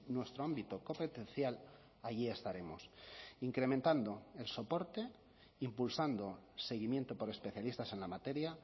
nuestro ámbito competencial allí estaremos incrementando el soporte impulsando seguimiento por especialistas en la materia